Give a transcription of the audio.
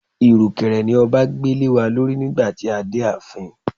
Irukere ni ọba gbé lewa lórí nígbà tí a dé ààfin.